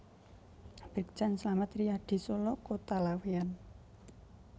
Brigjen Slamet Riyadi Solo Kota Laweyan